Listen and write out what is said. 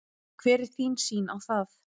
Hver er þín sýn á það?